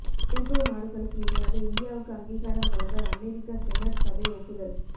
NATO நாடுகளுக்கு இணையாக இந்தியாவுக்கு அங்கீகாரம் வழங்க அமெரிக்க செனட் சபை ஒப்புதல்